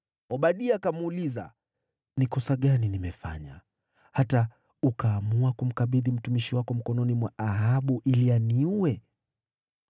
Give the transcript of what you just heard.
Obadia akamuuliza, “Ni kosa gani nimefanya, hata ukaamua kumkabidhi mtumishi wako mkononi mwa Ahabu ili aniue?